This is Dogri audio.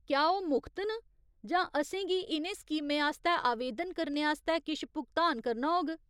क्या ओह् मुख्त न जां असेंगी इ'नें स्कीमें आस्तै आवेदन करने आस्तै किश भुगतान करना होग ?